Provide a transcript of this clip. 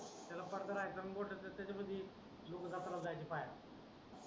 याला पडदा नाही तर त्याच्यामध्ये डोकं जायचं पायात